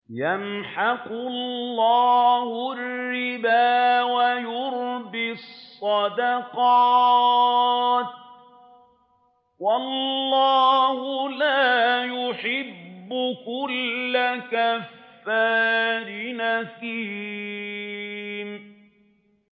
يَمْحَقُ اللَّهُ الرِّبَا وَيُرْبِي الصَّدَقَاتِ ۗ وَاللَّهُ لَا يُحِبُّ كُلَّ كَفَّارٍ أَثِيمٍ